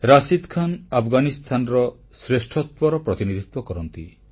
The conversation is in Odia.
ରଶିଦ ଖାନ୍ ଆଫଗାନିସ୍ଥାନର ଶ୍ରେଷ୍ଠତ୍ୱର ପ୍ରତିନିଧିତ୍ୱ କରନ୍ତି